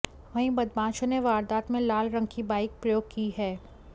वहीं बदमाशों ने वारदात में लाल रंग की बाइक प्रयोग की है